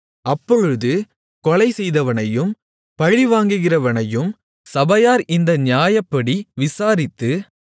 அப்பொழுது கொலைசெய்தவனையும் பழிவாங்குகிறவனையும் சபையார் இந்த நியாயப்படி விசாரித்து